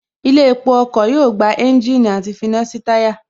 Ilé epo ọkọ̀ yóò gba ẹ́ńjìnì àti finá sí táyà